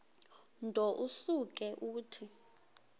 nto usuke uthi